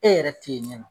E yɛrɛ tɛ ye nin nɔ